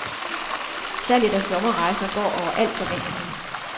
Salget af sommerrejser går over al forventning.